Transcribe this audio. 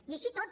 i així tot